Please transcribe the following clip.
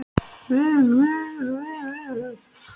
Hermaðurinn lauk sér loks af og gekk í burtu.